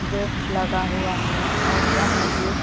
gets लगा हुआ हैऔर वह गेट --